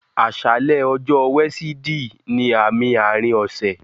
Aṣàlẹ̀ ọ̀jọ̀ọ̀ wẹ̀sídìì ní àmì àárín ọṣẹ̀